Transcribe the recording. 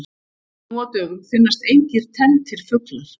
Nú á dögum finnast engir tenntir fuglar.